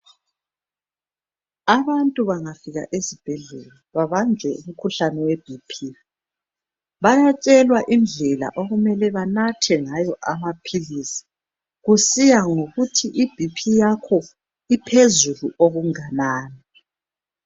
Abantu bangafika ezibhedlela babanjwe imikhuhlane ye BP bayatshelwa indlela okumele banathe ngayo amaphilisi kusiya ngokuthi i BP yakho iphezulu okunganani